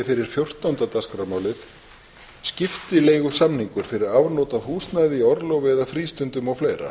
hæstvirtur forseti ég mæli fyrir frumvarpi til laga um skiptileigusamninga fyrir afnot af húsnæði í orlofi eða frístundum